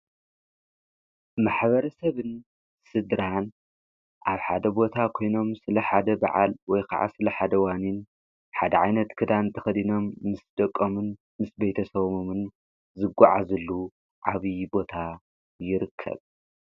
ማኅበረ ሰብን ስድራን ኣብ ሓደ ቦታ ኾይኖም ስለ ሓደ በዓል ወይ ከዓ ስለ ሓደዋኒን ሓድዓይነት ክዳን ቲኽዲኖም ምስ ደቆምን ምስ በይተሰወሙምን ዘጐዓ ዘሉ ዓብዪ ቦታ ይርከብ::